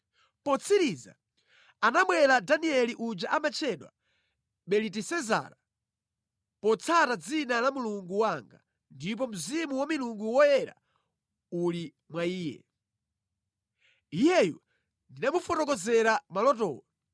Potsiriza, anabwera Danieli uja amatchedwa Belitesezara, potsata dzina la mulungu wanga, ndipo mzimu wa milungu yoyera uli mwa iye. Iyeyu ndinamufotokozera malotowo.